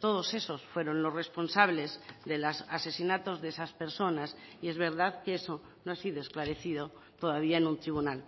todos esos fueron los responsables de los asesinatos de esas personas y es verdad que eso no ha sido esclarecido todavía en un tribunal